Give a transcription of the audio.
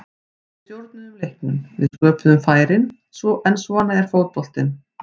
Við stjórnuðum leiknum, við sköpuðum færin, en svona er fótboltinn.